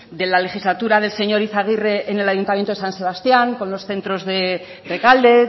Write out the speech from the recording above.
de la legislatura del señor izagirre en el ayuntamiento de san sebastián con los centros de rekalde